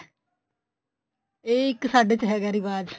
ਇਹ ਇੱਕ ਸਾਡੇ ਚ ਹੈਗਾ ਰਿਵਾਜ